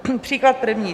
Příklad první.